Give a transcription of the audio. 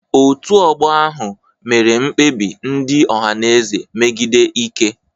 Otu ọgbọ ahụ mere mkpebi ndị Ohanaeze megide Ike.